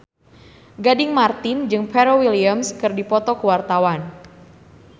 Gading Marten jeung Pharrell Williams keur dipoto ku wartawan